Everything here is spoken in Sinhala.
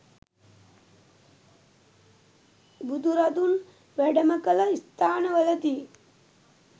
බුදුරදුන් වැඩමකළ ස්ථානවලදී